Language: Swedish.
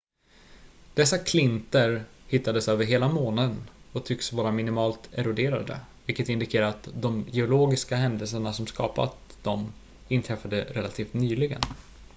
dessa klinter hittades över hela månen och tycks vara minimalt eroderade vilket indikerar att de geologiska händelserna som skapade dem inträffade relativt nyligen